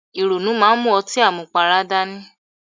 Ìrònú máa ń mú ọtí àmupara dání.